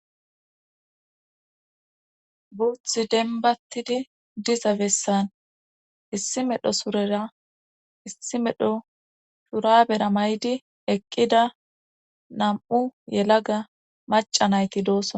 Guuthi denbattidi diza bessan issi medho surera issi medho shurabera maydi eqqida nam'u yelaga maca nayti doosona